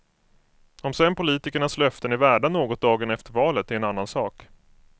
Om sen politikernas löften är värda något dagen efter valet är en annan sak.